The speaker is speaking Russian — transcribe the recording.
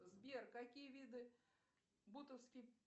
сбер какие виды бутовский